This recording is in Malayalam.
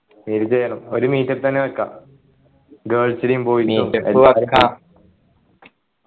ഒരു meet up തന്നെ വെക്കാം girls നെയും boys നെ ഒക്കെ